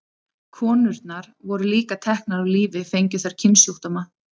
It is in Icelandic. Konurnar voru líka teknar af lífi fengju þær kynsjúkdóma.